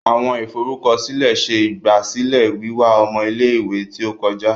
Awọn iforukọsilẹ ṣe igbasilẹ wiwa ọmọ ile-iwe ti o kọja.